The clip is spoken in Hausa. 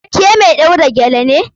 Ke mai ɗaura gele ne?